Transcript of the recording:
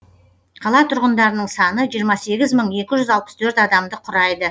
қала тұрғындарының саны жиырма сегіз мың екі жүз алпыс төрт адамды құрайды